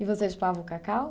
E você chupava o cacau?